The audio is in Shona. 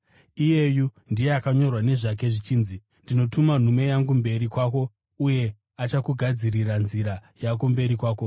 Iyeyu ndiye akanyorwa nezvake zvichinzi: “Ndinotuma nhume yangu mberi kwako uye achakugadzirira nzira yako mberi kwako.”